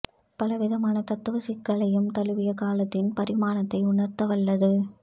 பல விதமான தத்துவ சிக்கல்களையும் தழுவி காலத்தின் பரிமாணத்தை உணர்த்த வல்லது